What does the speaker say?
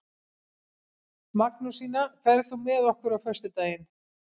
Magnúsína, ferð þú með okkur á föstudaginn?